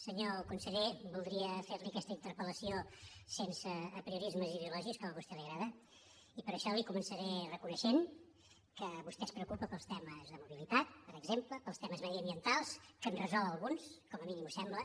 senyor conseller voldria fer li aquesta interpela vostè li agrada i per això li començaré reconeixent que vostè es preocupa pels temes de mobilitat per exemple pels temes mediambientals que en resol alguns com a mínim ho sembla